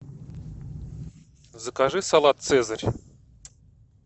закажи салат цезарь